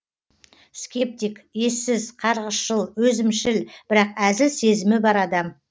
скептик ессіз қарғысшыл өзімшіл бірақ әзіл сезімі бар адам